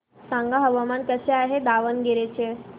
सांगा हवामान कसे आहे दावणगेरे चे